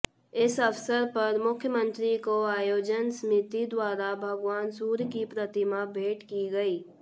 इस अवसर पर मुख्यमंत्री को आयोजन समिति द्वारा भगवान सूर्य की प्रतिमा भेंट की गई